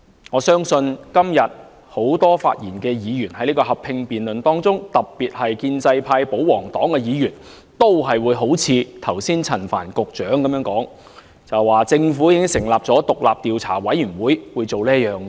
我相信今天很多就合併辯論發言的議員，特別是建制派、保皇黨的議員，都會像陳帆局長剛才那樣，說政府已經成立獨立調查委員會做各項工作。